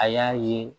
A y'a ye